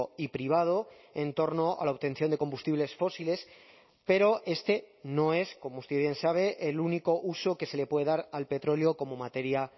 y privado en torno a la obtención de combustibles fósiles pero este no es como usted bien sabe el único uso que se le puede dar al petróleo como materia